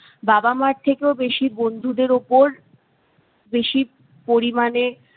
বাবা মার থেকেও বেশি বন্ধুদের উপর বেশি পরিমাণে